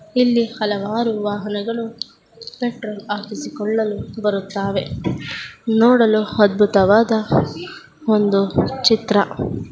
ಈ ಚಿತ್ರದಲ್ಲಿ ಕಾಣಿಸುತ್ತಾ ವುದು ಒಂದು ಪೆಟ್ರೋಲ್ ಬಂಕ್ ನೋಡಲು ತುಂಬಾ ವಿಶಾಲವಾಗಿದೆ ಹಾಗೂ ಅಧ್ಬುತವಾಗಿದೆ ಇಲ್ಲಿ ಹಲವಾರು ವಾಹನಗಳು ಪೆಟ್ರೋಲ್ ಹಾಕಿಸಿಕೊಳ್ಳಲು ಬರುತ್ತಾವೆ ನೋಡಲು ಅಧ್ಬುತವಾದ ಒಂದು ಚಿತ್ರ.